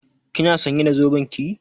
Kina sãnye da zoben ki?